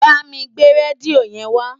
Bámi gbé rédíò yẹn wá